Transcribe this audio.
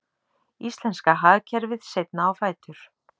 Íslenska hagkerfið seinna á fætur